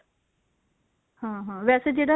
ਹਾਂ ਹਾਂ ਵੈਸੇਸੇ ਜਿਹੜਾ